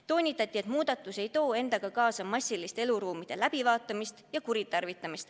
Toonitati, et muudatus ei too endaga kaasa massilist eluruumide läbivaatamist ja mingeid muid kuritarvitamisi.